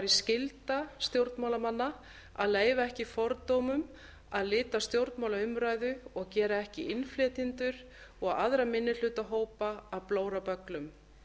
skylda stjórnmálamanna að leyfa ekki fordómum að lita stjórnmálaumræðu og gera ekki innflytjendur og aðra minnihlutahópa að blórabögglum